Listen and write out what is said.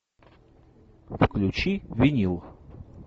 включи винил